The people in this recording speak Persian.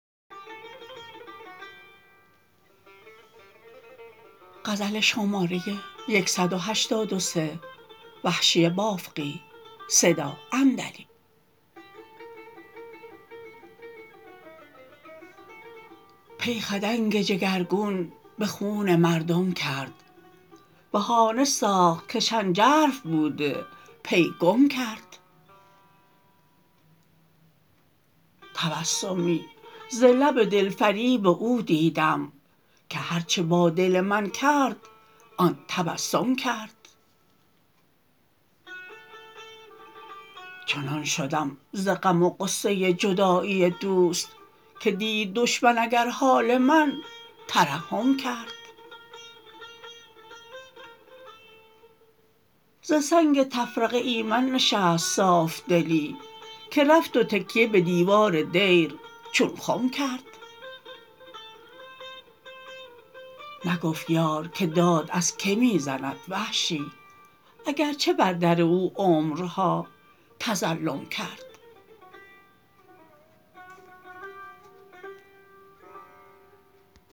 پی خدنگ جگر گون به خون مردم کرد بهانه ساخت که شنجرف بوده پی گم کرد تبسمی ز لب دلفریب او دیدم که هر چه با دل من کرد آن تبسم کرد چنان شدم ز غم و غصه جدایی دوست که دید دشمن اگر حال من ترحم کرد ز سنگ تفرقه ایمن نشست صاف دلی که رفت و تکیه به دیوار دیر چون خم کرد نگفت یار که داد از که می زند وحشی اگر چه بر در او عمرها تظلم کرد